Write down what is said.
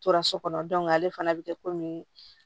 Tora so kɔnɔ ale fana bɛ kɛ komi